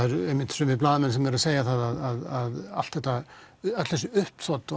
sumir blaðamenn segja það að allt þetta uppþot og